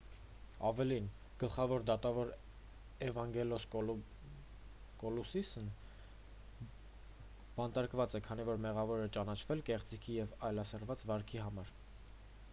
ավելին գլխավոր դատավոր էվանգելոս կալուսիսն բանտարկված է քանի որ մեղավոր էր ճանաչվել կեղծիքի և այլասերված վարքի համար